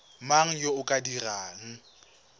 mang yo o ka dirang